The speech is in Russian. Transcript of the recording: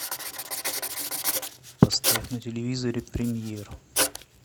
поставь на телевизоре премьер